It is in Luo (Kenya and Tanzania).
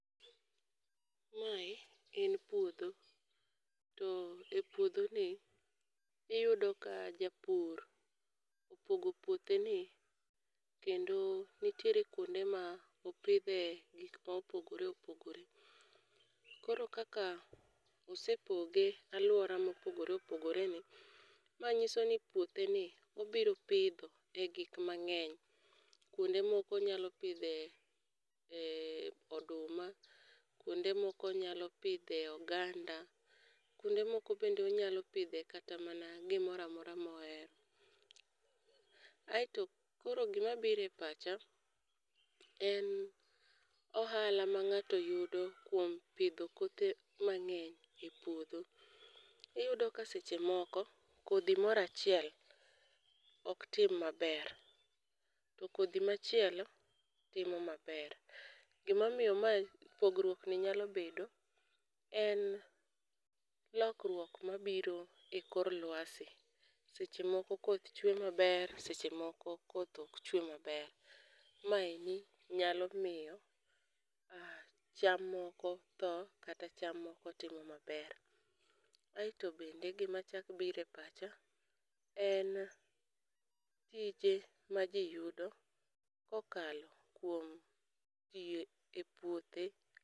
Mae en puodho, to e puodho ni iyudo ka japur opogo puothe ni kendo nitiere kuonde ma opidhe gik ma opogore opogore. Koro kaka osepoge alwora mopogore opogore ni, ma nyiso ni puothe ni obiro pidho e gik mang'eny. Kuonde moko onyalo pidhe oduma, kuonde moko onyalo pidhe oganda, kuonde moko bende onyalo pidhe kata mana gimora mora mohero. Aeto koro gima bire pacha en ohala ma ng'ato yudo kuom pidho kothe mang'eny e puodho. Iyudo ka seche moko kodhi morachiel ok tim maber, to kodhi machielo timo maber. Gima omiyo ma pogruokni nyalo bedo en lokruok ma biro e koro lwasi, seche moko koth chwe maber seche moko koth ok chwe maber. Maeni nyalo miyo cham moko tho kata cham moko timo maber. Aeto bende gima chak bire pacha en tije ma ji yudo kokalo kuom tiyo e puothe.